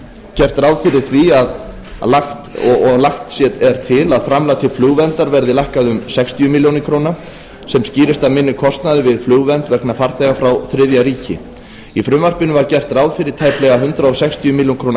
gert ráð fyrir því og lagt er til að framlag til flugverndar verði lækkað um sextíu ber sem skýrist af minni kostnaði við flugvernd vegna farþega frá þriðja ríki í frumvarpinu var gert ráð fyrir tæplega hundrað sextíu ber